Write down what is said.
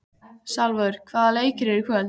Salvör, hvaða leikir eru í kvöld?